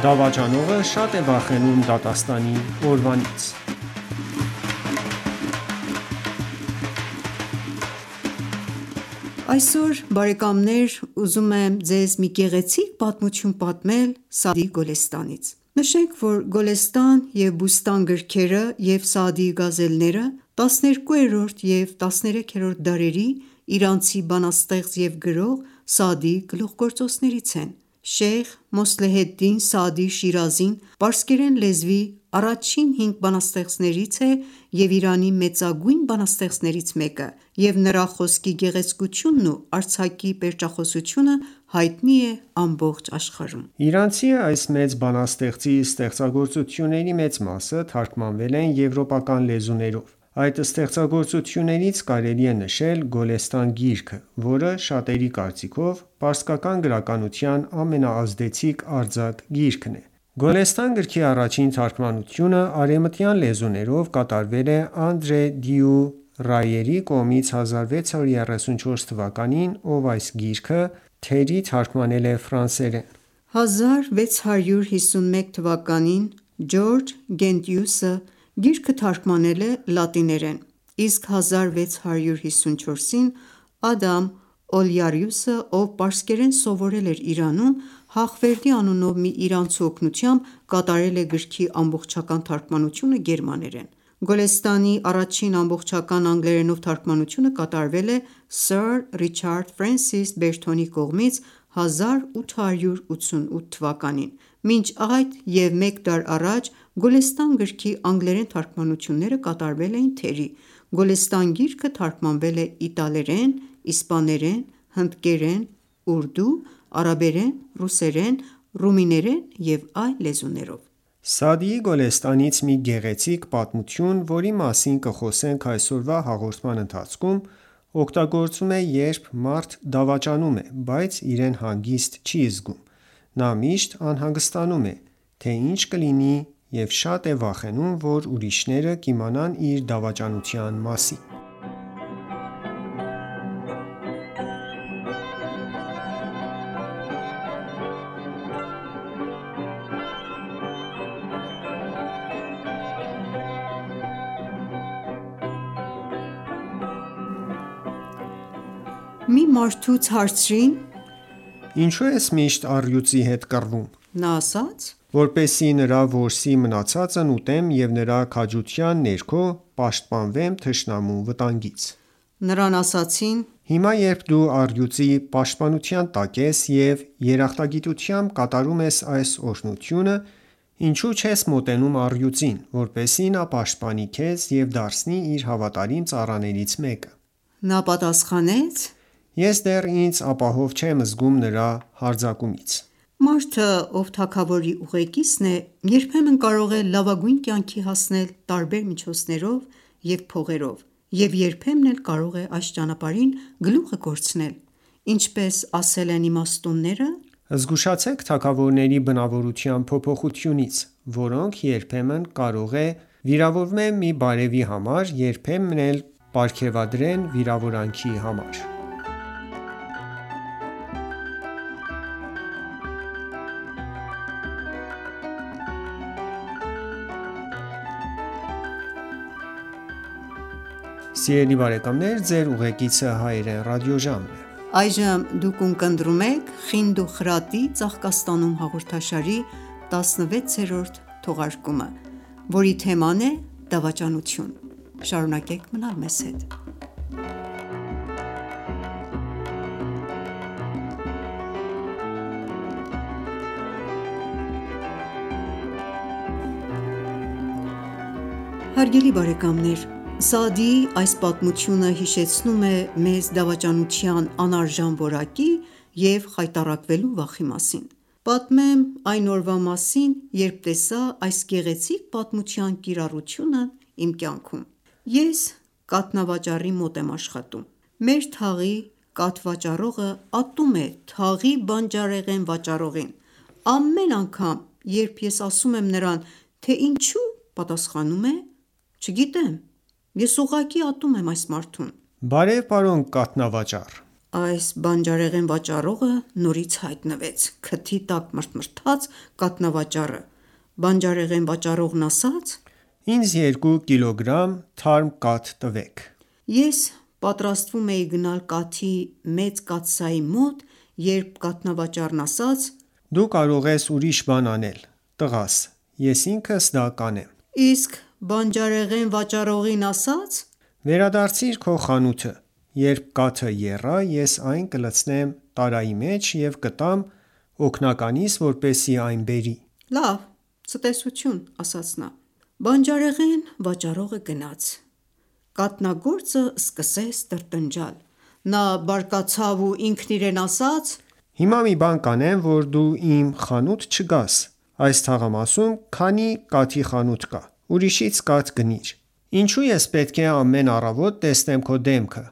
Դավաճանողը շատ է վախենում դատաստանի օրվանից։ Այսօր ուզում եմ ձեզ մի գեղեցիկ պատմություն պատմել Սաադիի Գոլսետանից: Գոլեստան և Բուստան գրքերը և «Սաադիի գազելները» 12-րդ և 13-րդ դարերի իրանցի բանաստեղծ և գրող Սաադիի գլուխգործոցներից են: Շեյխ Մոսլեհեդդին Սաադի Շիրազին, պարսկերեն լեզվի առաջին հինգ բանաստեղծներից է և Իրանի մեծագույն բանաստեղծներից մեկը և նրա խոսքի գեղեցկությունն ու արձակի պերճախոսությունը հայտնի է ամբողջ աշխարհում։ Իրանցի այս մեծ բանաստեղծի ստեղծագործությունների մեծ մասը թարգմանվել են եվրոպական լեզուներով։ Այս ստեղծագործություններից կարելի է նշել Գոլեստան գիրքը, որը շատերի կարծիքով պարսկական գրականության ամենաազդեցիկ արձակ գիրքն է։ Գոլեստան գրքի առաջին թարգմանությունը արևմտյան լեզուներով կատարվել է Անդրե դյու Ռայերի կողմից 1634 թվականին, ով այս գիրքը թերի թարգմանել է 1651-ին Ջորջ Գենտիուսը գիրքը թարգմանել է լատիներեն, իսկ 1654-ին Ադամ Օլեարիուսը, ով պարսկերեն սովորել էր Իրանում, Հաղվերդի անունով մի իրանցու օգնությամբ կատարել է գրքի ամբողջական թարգմանությունը գերմաներեն: Գոլեստանի առաջին ամբողջական անգլերենով թարգմանությունը կատարվել է սըր Ռիչարդ Ֆրենսիս Բերթոնի կողմից՝ 1888 թվականին։ Մինչ այդ և մեկ դար առաջ Գոլեստան գրքի անգլերեն թարգմանությունները կատարվել էին թերի։ Գոլեստան գիրքը թարգմանվել է իտալերեն, իսպաներեն, հնդկերեն, ուրդու, արաբերեն, ռուսերեն, ռումիներեն և այլ լեզուներով։ Սաադիի Գոլեստանից մի գեղեցիկ պատմություն, որի մասին կխոսենք այսօրվա հաղորդման ընթացքում, օգտագործվում է, երբ մարդ դավաճանում է, բայց իրեն հանգիստ չի զգում։ Նա միշտ անհանգստանում է, թե ինչ կլինի և շատ է վախենում, որ ուրիշները կիմանան իր դավաճանության մասին։ Մի մարդուց հարցրին. «Ինչո՞ւ ես միշտ առյուծի հետ կռվում»։ Նա ասաց. «Որպեսզի նրա որսի մնացածն ուտեմ և նրա քաջության ներքո պաշտպանվեմ թշնամու վտանգից»։ Նրան ասացին. «Հիմա, երբ դու առյուծի պաշտպանության տակ ես և երախտագիտությամբ կատարում ես այս օրհնությունը, ինչո՞ւ չես մոտենում առյուծին, որպեսզի նա պաշտպանի քեզ և դարձնի իր հավատարիմ ծառաներից մեկը»: Նա պատասխանեց. «Ես դեռ ինձ ապահով չեմ զգում նրա հարձակումից»: Մարդը, ով թագավորի ուղեկիցն է, երբեմն կարող է լավագույն կյանքի հասնել տարբեր միջոցներով և փողերով, և երբեմն էլ կարող է այս ճանապարհին գլուխը կորցնել:Ինչպես ասել են իմաստունները, «Զգուշացեք թագավորների բնավորության փոփոխությունից, որոնք երբեմն կարող է վիրավորվեն մի բարևի համար, երբեմն էլ պարգևատրեն վիրավորանքի համար: Պատմող.Սաադիի այս պատմությունը հիշեցնում է մեզ դավաճանության անարժան որակի և խայտառակվելու վախի մասին: Պատմեմ այն ​​օրվա մասին, երբ տեսա այս գեղեցիկ պատմության կիրառությունն իմ կյանքում։ Ես կաթնավաճառի մոտ եմ աշխատում։ Մեր թաղի կաթ վաճառողը ատում է թաղի բանջարեղեն վաճառողին։ Ամեն անգամ, երբ ես ասում եմ նրան, թե ինչո՞ւ, պատասխանում է. «Չգիտեմ։ Ես ուղղակի ատում եմ այս մարդուն»: -Բարև պարոն կաթնավաճառ: (Այս բանջարեղեն վաճառողը նորից հայտնվեց),քթի տակ մրթմրթաց կաթնավաճառը։ Բանջարեղեն վաճառողն ասաց-Ինձ երկու կիլոգրամ թարմ կաթ տվեք։ Ես պատրաստվում էի գնալ կաթի մեծ կաթսայի մոտ, երբ կաթնավաճարն ասաց. «Դու կարող ես ուրիշ բան անել, տղա՛ս։ Ես ինքս դա կանեմ»: Իսկ բանջարեղեն վաճառողին ասաց. «Վերադարձիր քո խանութը։ Երբ կաթը եռա, ես այն կլցնեմ տարայի մեջ և կտամ օգնականիս, որպեսզի այն բերի»: - Լավ, ցտեսություն: Բանջարեղեն վաճառողը գնաց։ Կաթնագործը սկսեց տրտնջալ։ Նա բարկացավ ու ինքն իրեն ասաց. - Հիմա մի բան կանեմ, որ դու իմ խանութ չգաս։ Այս թաղամասում քանի՞ կաթի խանութ կա: Ուրիշից կաթ գնիր։ Ինչո՞ւ ես պետք է ամեն առավոտ տեսնեմ քո դեմքը: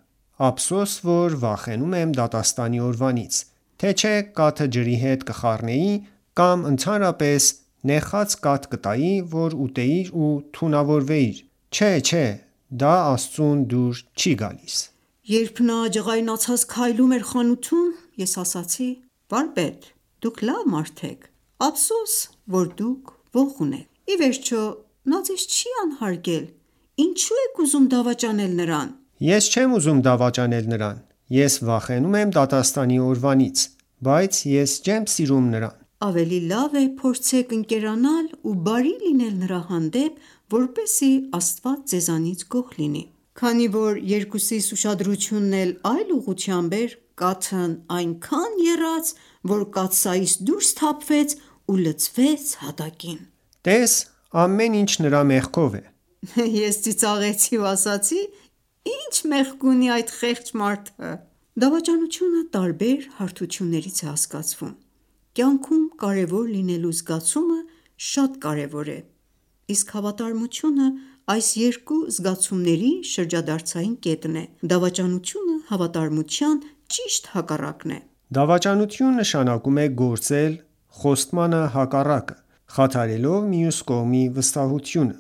Ափսոս, որ վախենում եմ դատաստանի օրվանից, թե չէ կաթը ջրի հետ կխառնեի, կամ ընդհանրապես նեխած կաթ կտայի, որ ուտեիր ու թունավորվերվեիր... չէ, չէ... դա Աստծուն դուր չի գալիս։ Երբ նա ջղաայնացած քայլում էր խանութում, ես ասացի. -Վարպետ... դուք լավ մարդ եք։ Ափսոս, որ դուք ոխ ունենք։ Ի վերջո նա ձեզ չի անհարգել։ Ինչո՞ւ եք ուզում դավաճանել նրան: - Ես չեմ ուզում դավաճանել նրան։ Ես վախենում եմ դատաստանի օրվանից. Բայց ես չեմ սիրում նրան։ - Ավելի լավ է փորձեք ընկերանալ ու բարի լինել նրա հանդեպ, որպեսզի Աստված ձեզանից գոհ լինի։ Քանի որ երկուսիս ուշադրությունն էլ այլ ուղղությամբ էր, կաթն այնքան եռաց, որ կաթսայից դուրս թափվեց ու լցվեց հատակին։ - Տես,... ամեն ինչ նրա մեղքով է։ Ես ծիծաղեցի ու ասացի. -Ի՞նչ մեղք ունի այդ խեղճ մարդը։ Դավաճանությունը տարբեր հարթություններից է հասկացվում: Կյանքում կարևոր լինելու զգացումը շատ կարևոր է, իսկ հավատարմությունը այս երկու զգացումների շրջադարձային կետն է: Դավաճանությունը հավատարմության ճիշտ հակառակն է։ Դավաճանություն նշանակում է գործել խոստմանը հակառակը, խաթարելով մյուս կողմի վստահությունը: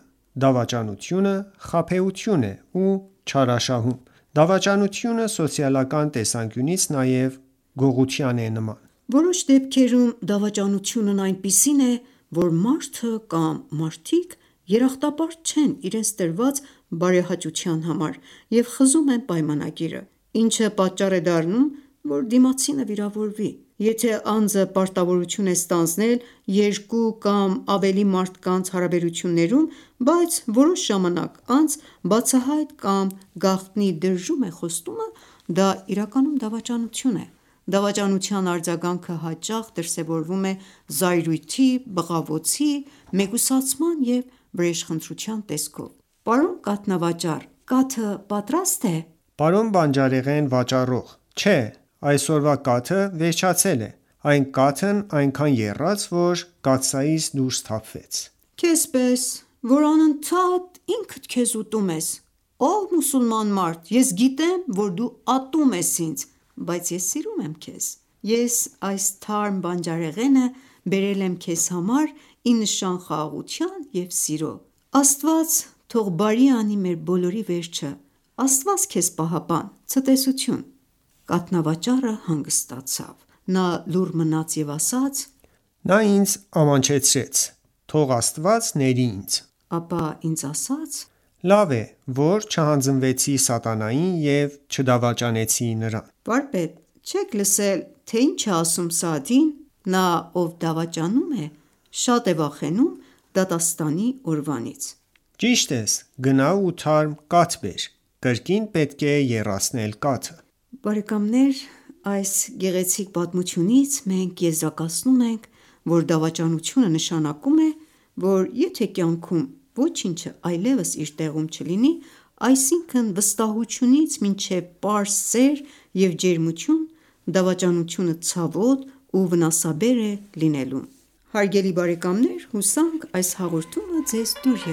Դավաճանությունը խաբեություն է ու չարաշահում: Դավաճանությունը սոցիալական տեսանկյունից նաև գողության է նման։ Որոշ դեպքերում դավաճանությունն այնպիսին է, որ մարդը կամ մարդիկ երախտապարտ չեն իրենց տրված բարեհաճության համար և խզում են պայմանագիրը, ինչը պատճառ է դառնում, որ դիմացինը վիրավորվի: Եթե ​​անձը պարտավորություն է ստանձնել երկու կամ ավելի մարդկանց հարաբերություններում, բայց որոշ ժամանակ անց բացահայտ կամ գաղտնի դրժում է խոստումը, դա իրականում դավաճանություն է: Դավաճանության արձագանքը հաճախ դրսևորվում է զայրույթի, բղավոցի, մեկուսացման և վրեժխնդրության տեսքով: - Պարոն կաթնավաճառ... կաթը պատրաստ է՞։ -Պարոն բանջարեղեն վաճառող... Չէ. Այսօրվա կաթը վերջացել է: Այն կաթն այնքան եռաց, որ կաթսայից դուրս թափվեց։ - Քեզ պես, որ անընդհատ ինքդ քեզ ուտում ես․․․ ով մուսուլման մարդ, ես գիտեմ, որ դու ատում ես ինձ։ Բայց ես սիրում եմ քեզ։ Ես այս թարմ բանջարեղենը բերել եմ քեզ համար ի նշան խաղաղության և սիրո։ Աստված թող բարի անի մեր բոլորի վերջը։ Աստված քեզ պահապան․․․․ - Կաթնավաճառը հանգստացավ։ Նա լուռ մնաց և ասաց.-Նա ինձ ամաչեցրեց։ Թող Աստված ների ինձ Ապա ինձ ասաց- Լավ է, որ չհանձնվեցի սատանային և չդավաճանեցի նրան։ - Վարպետ, Չե՞ք լսել, թե ինչ է ասում Սաադին. «Նա, ով դավաճանում է, շատ է վախենում դատաստանի օրվանից»: Ճիշտ ես, գնա ու թարմ կաթ բեր։ Կրկին պետք է եռացնել կաթը։ Այս գեղեցիկ պատմությունից մենք եզրակացնում ենք, որ դավաճանությունը նշանակում է, որ եթե կյանքում ոչինչը այլևս իր տեղում չլինի՝ այսինքն վստահությունից մինչև պարզ սեր և ջերմություն, դավաճանությունը ցավոտ ու վնասաբեր է լինելու: Հարգելի բարեկամներ հուսանք այս հաղորդումը ձեզ դուր